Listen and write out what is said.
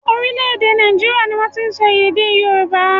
Orílẹ̀-èdè Nàìjíríà ni wọ́n ti ń sọ èdè Yorùbá.